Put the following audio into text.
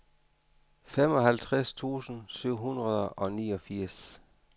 femoghalvtreds tusind syv hundrede og niogfirs